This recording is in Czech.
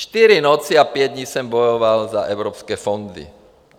Čtyři noci a pět dní jsem bojoval za evropské fondy.